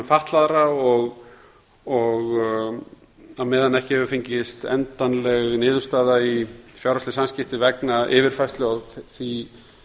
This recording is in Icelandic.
fatlaðra og á meðan ekki hefur fengist endanleg niðurstaða í fjárhagsleg samskipti vegna yfirfærslu á því